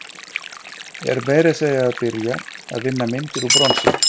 Er meira að segja að byrja að vinna myndir úr bronsi.